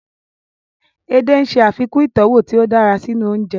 Edé ń ṣe àfikún ìtọ́wọ̀ tí ó dára sínú oúnjẹ